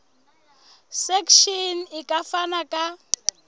section e ka fana ka